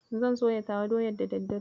Zan soya tawa doyar da daddare.